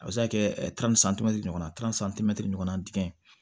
A bɛ se ka kɛ ɲɔgɔn na ɲɔgɔnna dingɛn